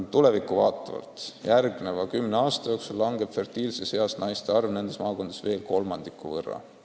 Tulevikku vaadates tuleb tunnistada, et järgmise kümne aasta jooksul kahaneb fertiilses eas naiste arv nendes maakondades veel kolmandiku võrra.